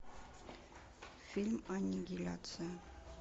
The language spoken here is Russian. фильм аннигиляция